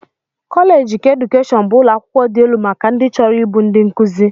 Kọleeji keedukeshọn bụ ụlọakwụkwọ dị elu maka ndị chọrọ ịbụ ndị nkụzi